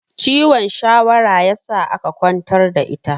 Ciwon shawara ya sa aka ƙwantar da ita